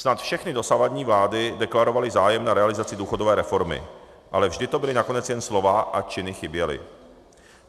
Snad všechny dosavadní vlády deklarovaly zájem na realizaci důchodové reformy, ale vždy to byla nakonec jen slova a činy chyběly.